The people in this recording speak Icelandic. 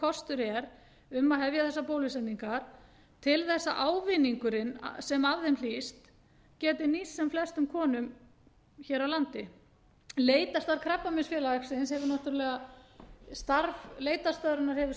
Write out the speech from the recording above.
kostur er um að hefja þessar bólusetningar til þess að ávinningurinn sem af þeim hlýst geti nýst sem flestum konum hér á landi leitarstöð krabbameinsfélags íslands hefur